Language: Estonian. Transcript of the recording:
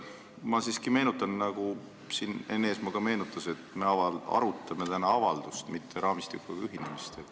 Ma siiski meenutan, nagu siin ka Enn Eesmaa meenutas, et me arutame täna avaldust, mitte raamistikuga ühinemist.